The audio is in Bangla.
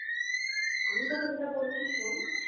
আমি তোকে যেটা বা বলছি শোন